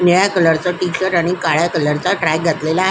निळ्या कलर चा टी-शर्ट आणि काळ्या कलर चा ट्रॅक घातलेला आहे.